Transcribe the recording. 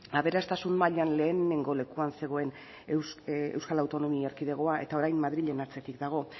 aberastasun mailan lehenengo lekuan zegoen euskal autonomia erkidegoa eta orain madrilen atzetik dago